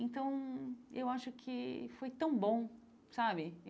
Então, eu acho que foi tão bom, sabe?